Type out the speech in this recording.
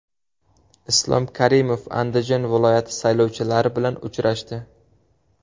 Islom Karimov Andijon viloyati saylovchilari bilan uchrashdi.